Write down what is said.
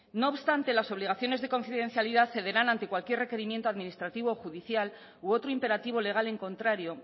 no obstante las obligaciones de confidencialidad cederán ante cualquier requerimiento administrativo judicial u otro imperativo legal en contrario